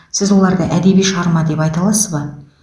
сіз оларды әдеби шығарма деп айта аласыз ба